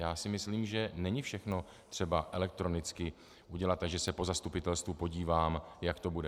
Já si myslím, že není všechno třeba elektronicky dělat, že se po zastupitelstvu podívám, jak to bude.